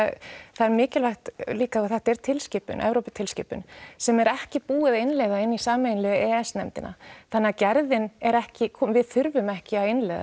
það er mikilvægt líka og þetta er tilskipun Evróputilskipun sem er ekki búið að innleiða inn í sameiginlegu e e s nefndina þannig að gerðin er ekki komin við þurfum ekki að innleiða